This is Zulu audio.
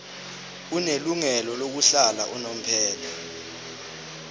onelungelo lokuhlala unomphela